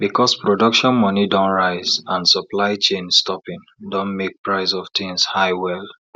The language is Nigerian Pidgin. because production money don rise and supply chain stoping don make price of tins high well